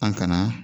An kana